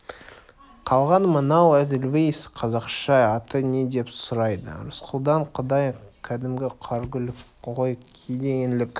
қалған мынау эдельвейс қазақша аты не деп сұрайды рысқұлдан құдай кәдімгі қаргүл ғой кейде еңлік